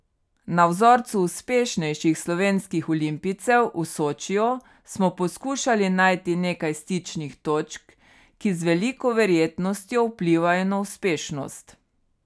Na vzorcu uspešnejših slovenskih olimpijcev v Sočiju smo poskušali najti nekaj stičnih točk, ki z veliko verjetnostjo vplivajo na uspešnost.